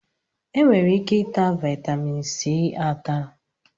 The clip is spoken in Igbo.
Enwere ike ịta vitaminsi ata